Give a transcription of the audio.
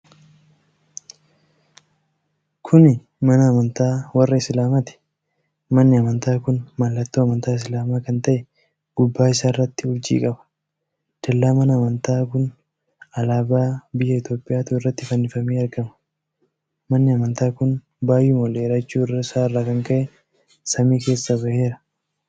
Kuni mana amantaa warra Islaamaati. manni amantaa kun mallatto amantaa Islaamaa kan ta'e gubbaa isaarratti urjii qaba. Dallaa mana amantaa kun alaabaa biyya Itoophiyaatu irratti fannifamee argama. Manni amantaa kun baay'uma ol dheerachuu isaa irraa kan ka'e samii keessa baheera.